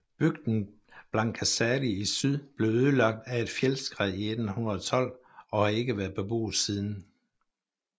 Bygden Blankaskáli i syd blev ødelagt af et fjeldskred i 1812 og har ikke været beboet siden